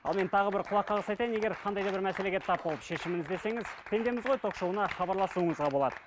ал мен тағы бір құлаққағыс айтайын егер қандай да бір мәселеге тап болып шешімін іздесеңіз пендеміз ғой ток шоуына хабарласуыңызға болады